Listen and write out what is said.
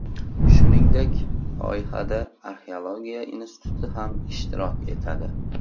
Shuningdek, loyihada Arxeologiya instituti ham ishtirok etadi.